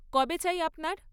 কবে চাই আপনার?